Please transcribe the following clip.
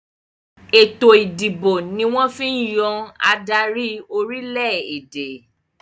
Ètò ìdìbò ni wọ́n fi ń yàn adarí orílẹ̀-èdè